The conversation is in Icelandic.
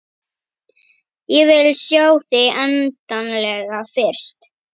Ég vil sjá þig endanlega fyrst.